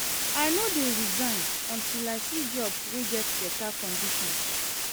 I no dey resign until I see job wey get beta conditions.